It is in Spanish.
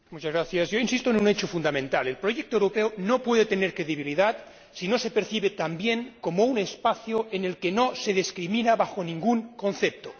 Señor Presidente, yo insisto en un hecho fundamental el proyecto europeo no puede tener credibilidad si no se percibe también como un espacio en el que no se discrimina bajo ningún concepto.